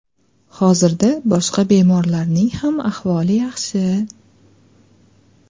Hozirda boshqa bemorlarning ham ahvoli yaxshi.